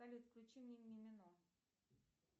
салют включи мне мимино